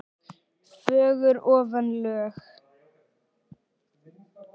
fögur ofan lög.